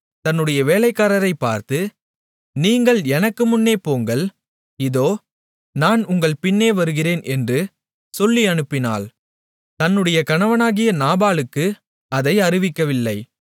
தன்னுடைய வேலைக்காரரைப் பார்த்து நீங்கள் எனக்கு முன்னே போங்கள் இதோ நான் உங்கள் பின்னே வருகிறேன் என்று சொல்லி அனுப்பினாள் தன்னுடைய கணவனாகிய நாபாலுக்கு அதை அறிவிக்கவில்லை